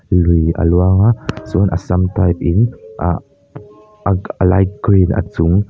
lui a luang a chuan assam type in ah a a light green a chung--